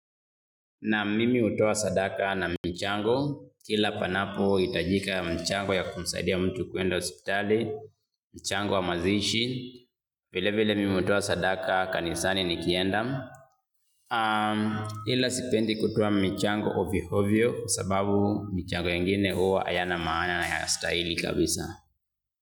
Na mimi hutoa sadaka na michango, kila panapohitajika mchango ya kumsaidia mtu kuenda hospitali, mchango wa mazishi, vile vile mimi hutoa sadaka kanisani nikienda, ila sipendi kutoa michango ovyo ovyo, sababu michango yengine huwa hayana maana yanastahili kabisa.